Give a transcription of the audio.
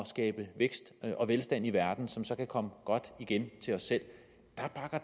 skabe vækst og velstand i verden som så kan komme godt igen til os selv